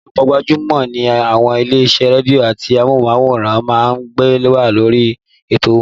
Ọ̀pọ̀lọpọ̀ gbajúmọ̀ ni àwọn ilé-isẹ́ rédíò àti amóhùnmáwòrán máa ń gbé wá sórí ètò wọn